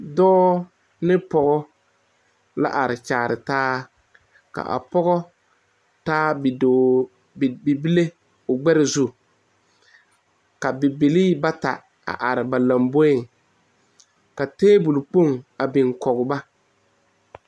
Dɔɔ ne pɔge la are kyɛre taa a pɔge taa bibile ka bibile bata are ba lamboroŋ ka tabole kpoŋ big kaŋ ba.